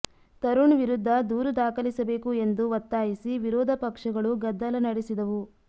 ತರುಣ್ ವಿರುದ್ಧ ದೂರು ದಾಖಲಿಸಬೇಕು ಎಂದು ಒತ್ತಾಯಿಸಿ ವಿರೋಧ ಪಕ್ಷಗಳು ಗದ್ದಲ ನಡೆಸಿದವು